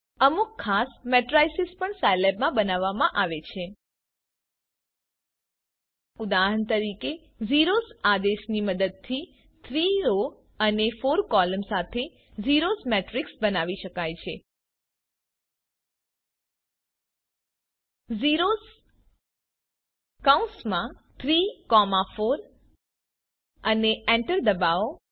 અમુક ખાસ મેટ્રિસેસ પણ સાઈલેબમાં બનાવવામાં આવે છે ઉદાહરણ તરીકે ઝેરોસ આદેશની મદદથી 3 રો અને 4 કૉલમ સાથે ઝેરોસ મેટ્રિક્સ બનાવી શકાય છે zeros34 અને એન્ટર ડબાઓ